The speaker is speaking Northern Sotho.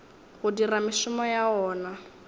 go dira mešomo ya wona